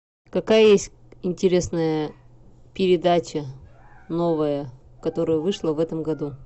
какая есть интересная передача новая которая вышла в этом году